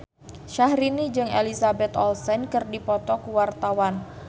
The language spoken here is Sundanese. Syahrini jeung Elizabeth Olsen keur dipoto ku wartawan